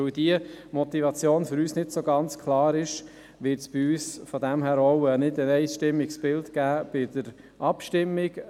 – Da die Motivation für uns nicht ganz klar ist, wird es bei uns nicht ein einstimmiges Bild geben bei der Abstimmung.